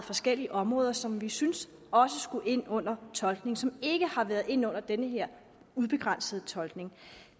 forskellige områder som vi syntes også skulle ind under tolkning altså som ikke har været inde under den her ubegrænsede tolkning